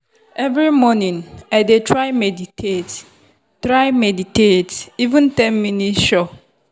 every morning i dey try meditate try meditate — even ten minutes sure.